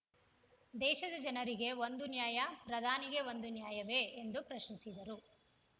ದೇಶದ ಜನರಿಗೆ ಒಂದು ನ್ಯಾಯ ಪ್ರಧಾನಿಗೆ ಒಂದು ನ್ಯಾಯವೇ ಎಂದು ಪ್ರಶ್ನಿಸಿದರು